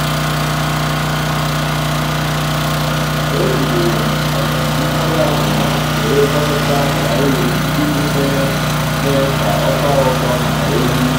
èjìrì m mọ́lásị̀s wéré gwakọta sàị́lèjì iji mee mee ka ọ tọ́ọ ụtọ màkà éwú.